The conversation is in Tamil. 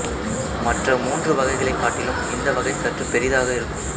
மற்ற மூன்று வகைகளைக் காட்டிலும் இந்த வகை சற்று பெரிதாக இருக்கும்